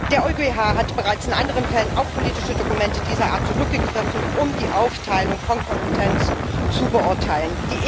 Der EuGH hat bereits in anderen Fällen auf politische Dokumente dieser Art zurückgegriffen, um die Aufteilung von Kompetenzen zu beurteilen.